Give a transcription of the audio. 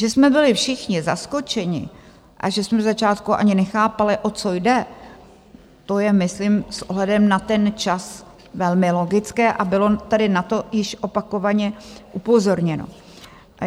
Že jsme byli všichni zaskočeni a že jsme ze začátku ani nechápali, o co jde, to je myslím s ohledem na ten čas velmi logické a bylo tady na to již opakovaně upozorněno.